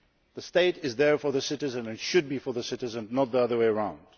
the State is there for the citizen and should be for the citizen, and not the other way round